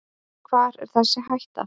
Hvar er þessi hætta.